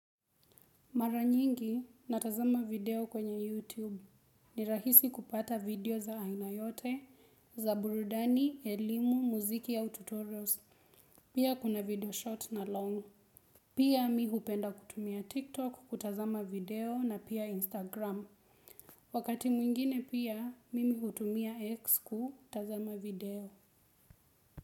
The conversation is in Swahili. Mara nyingi natazama video kwenye YouTube. Nirahisi kupata video za aina yote, za burudani, elimu, muziki ya au tutorials. Pia kuna video short na long. Pia mi hupenda kutumia TikTok kutazama video na pia Instagram. Wakati mwingine pia, mimi hutumia X kutazama video.